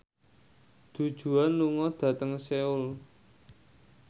Du Juan lunga dhateng Seoul